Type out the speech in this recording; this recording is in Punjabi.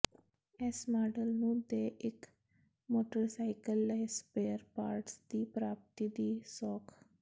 ਇਸ ਮਾਡਲ ਨੂੰ ਦੇ ਇੱਕ ਮੋਟਰਸਾਈਕਲ ਲਈ ਸਪੇਅਰ ਪਾਰਟਸ ਦੀ ਪ੍ਰਾਪਤੀ ਦੀ ਸੌਖ